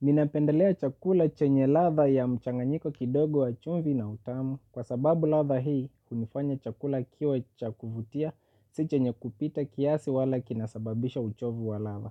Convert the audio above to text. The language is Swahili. Ninapendelea chakula chenye ladha ya mchanganyiko kidogo wa chumvi na utamu kwa sababu ladha hii hunifanya chakula kiwe cha kuvutia si chenye kupita kiasi wala kinasababisha uchovu wa ladha.